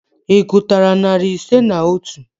Ị gụtara narị ise na otu?